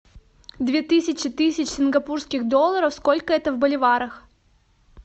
две тысячи тысяч сингапурских долларов сколько это в боливарах